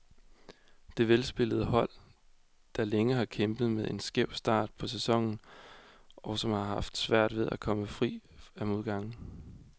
Det er velspillende hold, der længe har kæmpet med en skæv start på sæsonen, og som har haft svært ved at komme fri af modgangen.